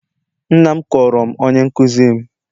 Nna m kọọrọ m onye nkụzi m.